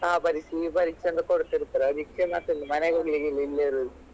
ಆ ಪರೀಕ್ಷೆ ಈ ಪರೀಕ್ಷೆ ಅಂತ ಕೊಡ್ತಿರ್ತಾರೆ ಅದಿಕ್ಕೆ ಮತ್ತೆಂತ ಮನೆಗೆ ಹೋಗ್ಲಿಕ್ಕೆ ಇಲ್ಲ ಇಲ್ಲೇ ಇರುದು.